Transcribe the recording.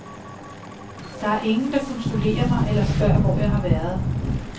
Der er ingen, der kontrollerer mig eller spørger, hvor jeg har været.